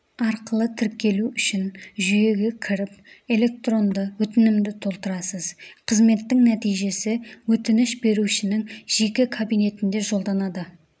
арқылы тіркелу үшін жүйеге кіріп электронды өтінімді толтырасыз қызметтің нәтижесі өтініш берушінің жеке кабинетіне жолданады